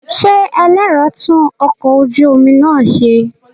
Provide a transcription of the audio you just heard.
Ṣé ẹlẹ́rọ tún ọkọ̀ ojú omi náà ṣe?